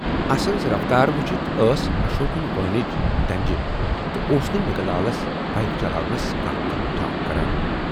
اسٕنز رفتار وُچھِتھ ٲس اشوکٕنۍ وٲلِنج ڈنجہِ تہٕ اوس نہٕ نِکہٕ لالس بایِک چلاونس کانہہ تہِ ٹھاک کران۔